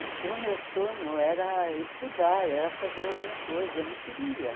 E o meu sonho era estudar, era fazer outra coisa, eu não queria.